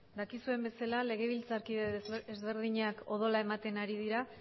dakizuen bezala legebiltzarkide desberdinak odola ematen ari dira